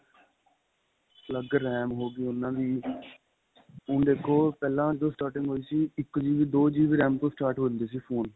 ਅੱਲਗ RAM ਹੋ ਗਈ ਉਹਨਾ ਦੀ ਹੁਣ ਦੇਖੋ ਪਹਿਲਾਂ ਜੋ starting ਹੋਈ ਸੀ ਇੱਕ GB ਦੋ GB RAM ਤੋਂ start ਹੁੰਦੀ ਸੀ phone